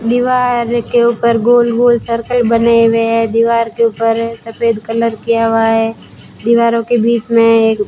दीवार के ऊपर गोल गोल सर्कल बने हुए है दीवार के ऊपर सफेद कलर किया हुआ है दीवारों के बीच में एक --